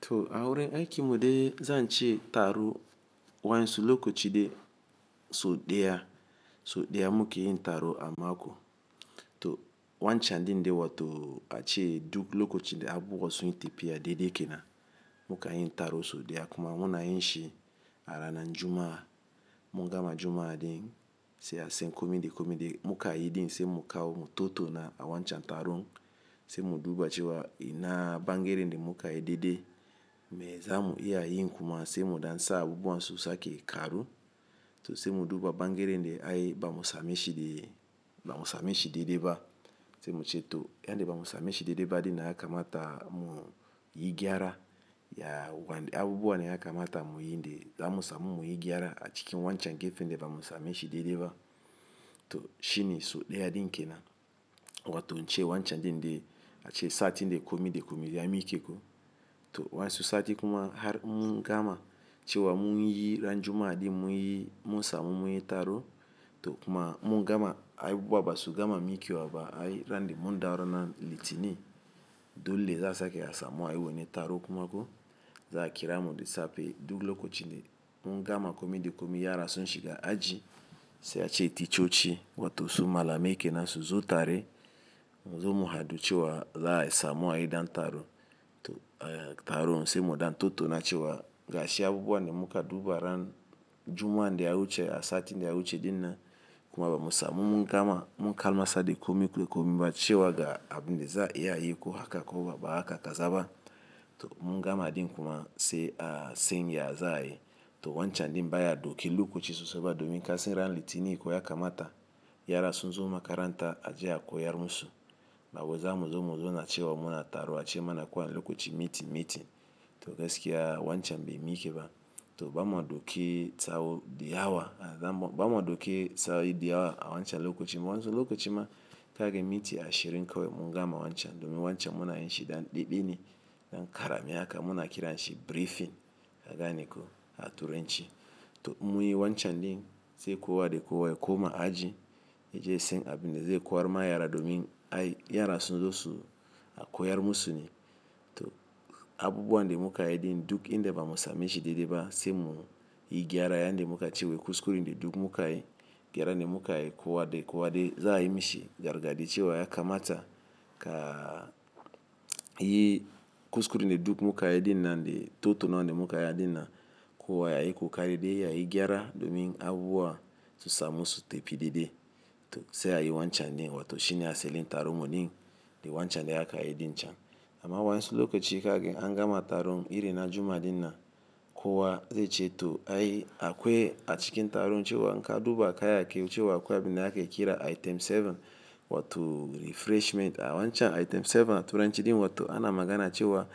To, awurin aikin mude zan ce taro, waƴansu loko cide so ɗiya, so ɗiya mukeyin taro a mako, to, wancan din de wa to a ce duk lokocin de abubuwa sun yi tapiya dede kenan, mukan yi taro so ɗiya, kuma muna yinshi a ranan Juma'a. Mungama Juma'a din, se asan komide komide muka yi din, se muka o mutoto na a wancan taron, se muduba cewa ina bangeren de muka yi dede. Me zamu iya yin kuma, se mudan sa abubuwan su sake karu to se muduba bangeren de ai bamu sameshi de, bamu sameshi dede ba, se muce to yande bamu sameshi dede ba din nan ya kamata mu yi gyara, ya wande, abubuwa na ya kamata mu yi de zamu samu mu yi gyara a cikin wancan gefen de bamu sameshi dede ba to shine so ɗiya din kenan wato ince wancan dinde, a ce sati de komide komide ya mike ko, to wansu sati kuma har in mungama, cewa mun yi ran Juma'a din mun yi mun samu mun yi taro, to kuma mungama ai bubuwa basu gama mike wa ba, ai ran de mundawo ranan litini dole za'a sake asamu ai wone taro kumako, za akira mu de sape, duk lokocin de mungama komide komide ya ra sun shiga aji, se a ce ticoci, wato su malamai kenan su zo tare, muzo muhadu cewa za asamu ai dan taro to taro se mudan totona cewa, gashi abubuwan da muka duba ran Juma'an daya wuce a satin da ya wuce dinnan kuma bamu samu mungama, mun kalma sa de komi de komi ba, ce wa ga abin de za'a iya yi ko haka ko ba haka ka zaba, to mungama din kuma se a sen ya za ai, to wancanb din ba ya doki lokoci sose ba domin kasan ran litini ko ya kamata ya ra sun zo makaranta, aje a koyar musu. Bawai zamu zo mu zona cewa muna taro a ce mana kuwane lokoci miti miti, to gaskiya wancan be mike ba, to bama doki sa'o'i di yawa, bamu doki sa'o'i di yawa, a wancan lokoci wansu lokoci ma kage miti ashirin kawai, mungama wancan domin wancan muna yinshi ɗan ɗiɗi ne, ɗan karami haka muna kiran shi briefing, ka ganiko a Turanci, to in mu yi wancan ɗin, se kowa de kowa ya koma aji ya je ya sen abin de ze kowar ma yara domin ai yara sun zo su a koyar musu ne, to abubuwan de muka yi din duk inde bamu sameshi dedeba se mu yi gyara yande muka ce wai kuskuren de duk muka yi, gyara ne muka yi kowa de kowa de za ai mishi gargadi cewa ya kamata ka yi kuskurin de duk muka yi dinnan de, totonawa de muka yi dinnan, kowa ya yi ko kari de ya yi gyara domin abubuwa su samu su tepi dede to se a yi wancan din wato shine aselin taron mudin, de wancan de aka yi din can. Amma waƴansu lokoci kaga in an gama taron, iri na Juma'a dinnan, kowa ze ce to ai akwai a cikin taron ce wa in ka duba kayaki ce wa akwai abin da ake kira item seven wato refreshment, a wancan item seven a Turanci din wato ana magana ce wa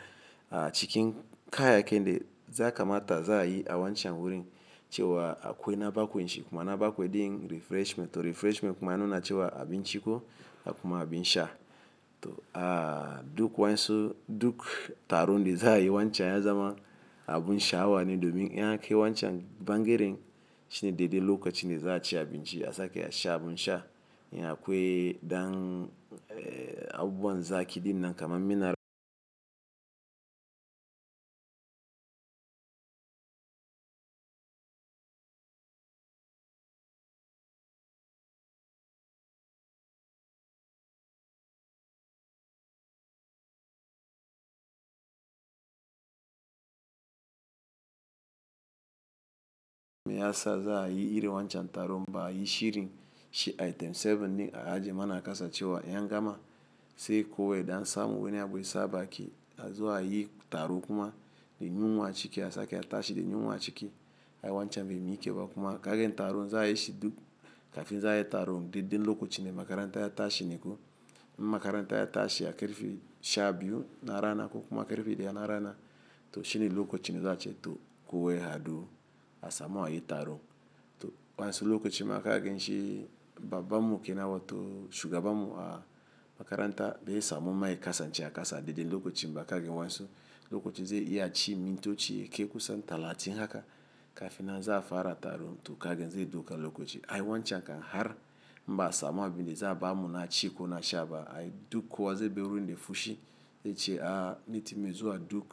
a cikin kaya kin de za kamata za ai a wancan wurin ce wa akwai na bakwanshi kuma, na bakwai din refreshment, to refreshment kuma ya nuna ce wa abin ciko, dakuma abin sha, to a duk wa'insu, duk taron di za ai wancan ya zama abun sha'awa ni domin in an kai wancan bangeren, shine dede lokoci de za'a ci abin ci a sake a sha abun sha, in akwe dan abubuwan zaki dinnan kama minerals. Me ya sa za'a yi irin wancan taron ba'a yi shirin shi item seven ni, a aje mana akasa ce wa in an gama se kuwa ya ɗan samu wane abu yasa a baki, a zo a yi taro kuma de yunwa ciki a sake a tashi de yunwa ciki ai wancan be mike ba kuma, kagan taron za'a yi shi duk kafin za'a yi taron, de din lokocinde makaranta ya tashi neko. Makaranta ya tashi a karfe sha biyu na rana ko kuma karfe ɗaya na rana, to shine lokocinde za'a ce to kowa y ha du asamu a yi taro to wansu loko cide ma kage nshi babban mu ke nan, wato shugabanmu a makaranta, be samu ma yakasance a kasa dede lokocin ba, kaga wansu lokoci ze iya ci mintoci yake kusan talatin haka kafin nan za'a fara taro, to kaga ze doka lokoci ai wancan kan har in ba asamu abin de za ba mu na ci ko na sha ba ai duk kowa ze ber wurin de fushi ze ce a litin me zuwa duk.